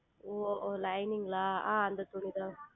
ஓ Lining ல ஆஹ் அந்த துணி தான்